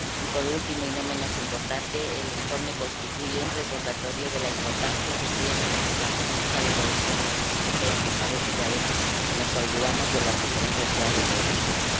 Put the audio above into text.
Y por último, y no menos importante, el informe constituye un recordatorio de la importancia que tiene la política de cohesión en la Unión Europea, que parece que a veces nos olvidamos de las diferencias que hay entre regiones.